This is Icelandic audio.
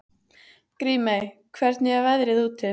Grímey, hvernig er veðrið úti?